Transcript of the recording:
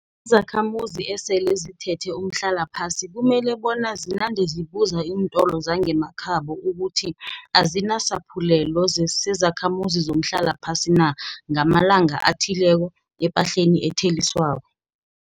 zakhamuzi esele zithethe umhlalaphasi kumele bona zinande zibuza iintolo zangemakhabo ukuthi azinasephulelo sezakhamuzi zomhlalaphasi na, ngamalanga athileko, epahleni etheliswako.